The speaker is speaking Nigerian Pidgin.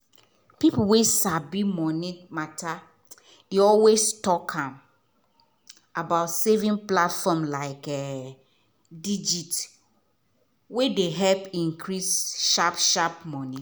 people wey sabi money matter dey always talk um about saving platform like um digit wey dey help increase sharp-sharp money